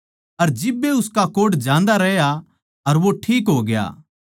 अर जिब्बे उसका कोढ़ जान्दा रह्या अर वो ठीक होग्या